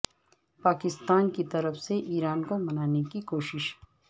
پاکستان کی طرف سے ایران کو منانے کی کوششیں